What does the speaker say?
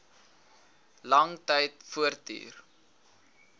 lang tyd voortduur